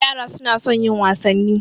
Yara suna son yin wasanni.